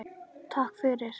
Takk fyrir.